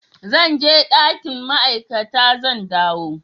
Zan je dakin ma'aikata, zan dawo.